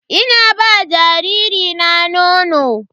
Ina ba jariri na nono.